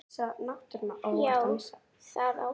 Já, það á hún.